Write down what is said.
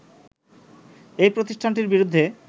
এই প্রতিষ্ঠানটির বিরুদ্ধে